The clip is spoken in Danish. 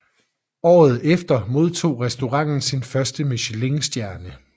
Året efter modtog restauranten sin første michelinstjerne